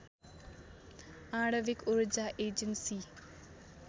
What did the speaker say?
आणविक ऊर्जा एजेन्सी